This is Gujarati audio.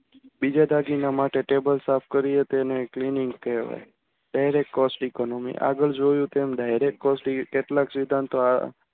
બીજા દાગીના માટે table સાફ કરીએ તેને cleaning કહેવાય છે. cost economy આગળ જોયું તેમ direct કેટલાક સિદ્ધાંતો